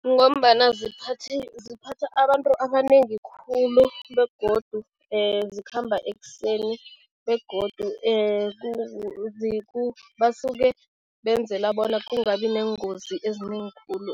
Kungombana ziphatha abantu abanengi khulu begodu zikhamba ekuseni begodu basuke benzela bona kungabi neengozi ezinengi khulu